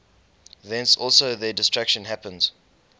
thence also their destruction happens